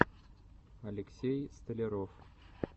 алексей столяров